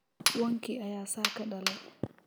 Wankii ayaa saaka dhalay.